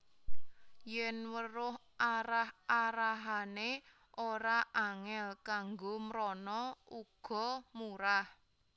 Yèn weruh arah arahané ora angèl kanggo mrana uga murah